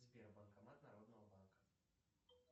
сбер банкомат народного банка